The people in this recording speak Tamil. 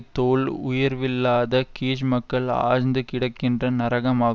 தோள் உயர்வில்லாத கீஜ்மக்கள் ஆழ்ந்து கிடக்கின்ற நரகமாகும்